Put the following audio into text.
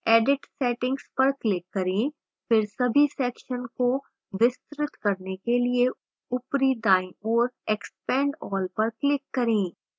edit settings पर click करें फिर सभी sections को विस्तृत करने के लिए ऊपरी दाईं ओर expand all पर click करें